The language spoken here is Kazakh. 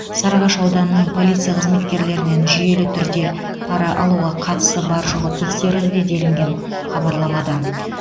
сарыағаш ауданының полиция қызметкерлерінен жүйелі түрде пара алуға қатысы бар жоғы тексерілуде делінген хабарламада